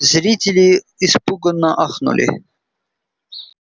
зрители испуганно ахнули